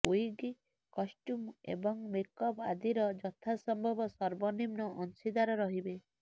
wig costume ଏବଂ makeup ଆଦିର ଯଥାସମ୍ଭବ ସର୍ବନିମ୍ନ ଅଂଶୀଦାର ରହିବେ